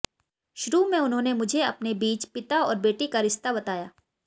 शुरू में उन्होंने मुझे अपने बीच पिता और बेटी का रिश्ता बताया